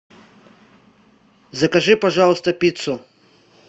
закажи пожалуйста пиццу